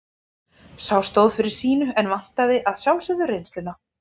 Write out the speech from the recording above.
Sá stóð fyrir sínu en vantar að sjálfsögðu reynsluna.